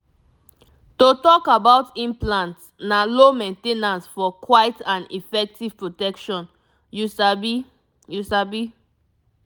to talk about implants na low main ten ance for quiet and effective protection you sabi you sabi